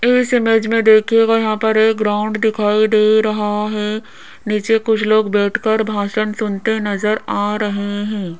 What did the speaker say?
इस इमेज में देखिएगा यहां पर एक ग्राउंड दिखाई दे रहा है नीचे कुछ लोग बैठ कर भाषण सुनते नजर आ रहे हैं।